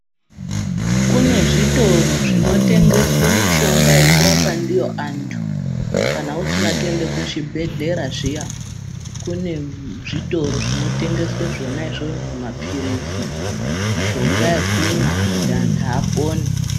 Kune zvitoro zvinotengeswe mishonga yekurapwa ndiyo antu kana usina kuende kuzvibhedhlera zviya, kune zvitoro zvinotengeswe zvona izvozvo. Zvimaphirizi, mishonga yekumwa kuti antu apone.